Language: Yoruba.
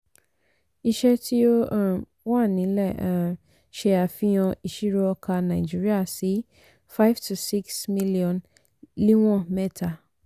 iṣẹ́ tí ó um wà nílẹ̀ um ṣe àfihàn ìṣirò ọkà náìjíríà sí five to six milion níwọn mẹ́ta.